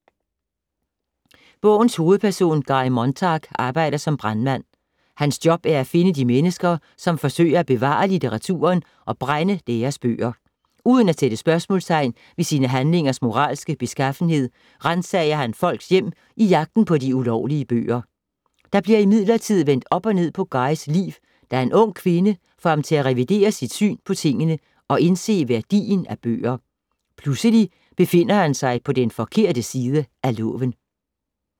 Bogens hovedperson, Guy Montag, arbejder som brandmand. Hans job er at finde de mennesker, som forsøger at bevare litteraturen og brænde deres bøger. Uden at sætte spørgsmålstegn ved sine handlingers moralske beskaffenhed, ransager han folks hjem i jagten på de ulovlige bøger. Der bliver imidlertid vendt op og ned på Guys liv, da en ung kvinde får ham til at revidere sit syn på tingene og indse værdien af bøger. Pludselig befinder han sig på den forkerte side af loven.